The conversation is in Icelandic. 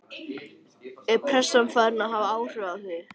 Er pressan farin að hafa áhrif á þá?